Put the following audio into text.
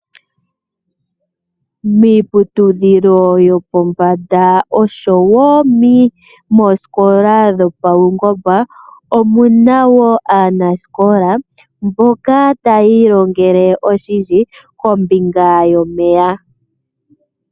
Miiputudhilo yopombanda oshowo moosikola dhopaungomba, omuna wo aanasikola mboka tayi ilongele oshindji kombinga yomeya.